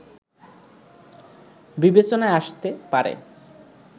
বিবেচনায় আসতে পারে